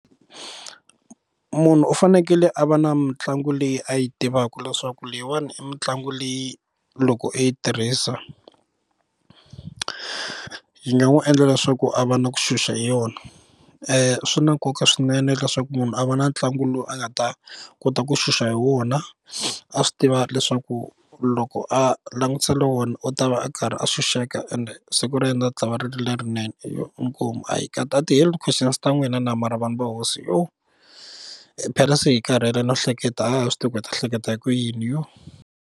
Munhu u fanekele a va na mitlangu leyi a yi tivaka leswaku leyiwani i mitlangu leyi loko i yi tirhisa yi nga n'wi endla leswaku a va na ku xuxa hi yona swi na nkoka swinene leswaku munhu a va na ntlangu lowu a nga ta kota ku xuxa hi wona a swi tiva leswaku loko a langutisile wona u ta va a karhi a xuxeka ende the siku ra yena ri tshama ri ri lerinene yo inkomu kasi a ti heli questions ta n'wina na? Mara vanhu va hosi phela se hi karhele no hleketa haha swi tivi ku hi ta hleketa hi ku yini .